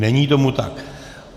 Není tomu tak.